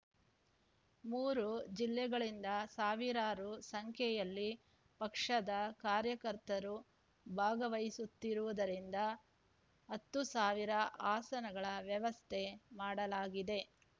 ಮೂರು ಜಿಲ್ಲೆಗಳಿಂದ ಸಾವಿರಾರು ಸಂಖ್ಯೆಯಲ್ಲಿ ಪಕ್ಷದ ಕಾರ್ಯಕರ್ತರು ಭಾಗವಹಿಸುತ್ತಿರುವುದರಿಂದ ಹತ್ತು ಸಾವಿರ ಆಸನಗಳ ವ್ಯವಸ್ಥೆ ಮಾಡಲಾಗಿದೆ